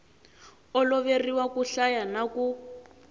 oloveriwa ku hlaya na ku